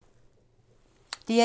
DR1